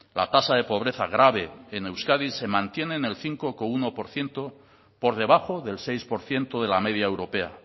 la tasa de pobreza grave en euskadi se mantiene en el cinco coma uno por ciento por debajo del seis por ciento de la media europea